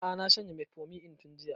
A'a na shanye metformin ɗin tun jiya